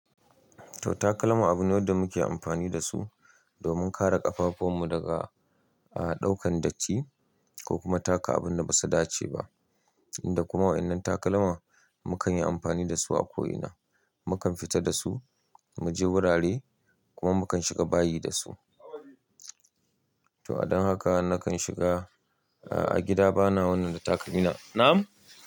To takalma abune da muke amfani da su domin kare ƙafafun mu daga a ɗaukan datti ko kuma taka abun da basu dace ba. Inda kuma waɗannan takalman mukan yi amfani dasu a ko ina. Mukan fita da su, mu je wurare kuma mukan shiga bayi da su. To adon haka nakan shiga a gida bana wannan da takalmina. Nam!